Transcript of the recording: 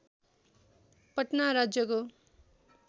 पटना राज्यको